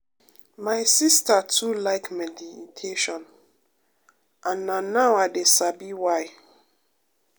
my sister too like meditation and na now i de sabi why